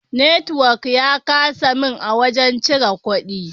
Network ya kasa min a wajen cire kudi.